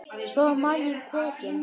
Svo var maginn tekinn.